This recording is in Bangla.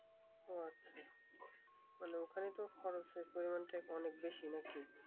ও আচ্ছা মানে ওখানে তো খরচের পরিমাণটা অনেক বেশি নাকি